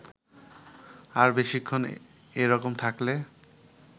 আর বেশিক্ষণ এ-রকম থাকলে